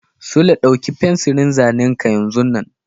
Sule, ɗauki fensirin zanen ka yanzun nan!